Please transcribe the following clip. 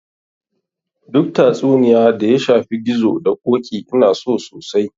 Duk tatsuniya da ya shafi gizo da ƙoƙi Ina so sosai